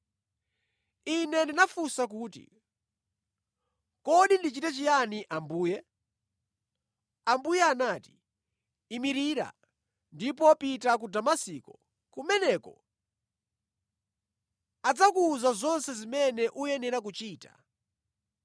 Ine ndinafunsa kuti, “Kodi ndichite chiyani Ambuye?” Ambuye anati, “Imirira ndipo pita ku Damasiko. Kumeneko adzakuwuza zonse zimene ukuyenera kuchita.”